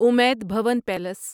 امید بھون پیلیس